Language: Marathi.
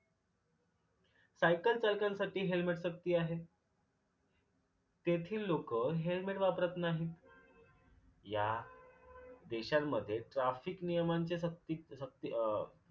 सायकल चालकांसाठी helmet सक्ती आहे. तेथील लोक helmet वापरत नाही. ह्या देशांमध्ये ट्रॅफिक नियमांची सक्ती सक्ती अ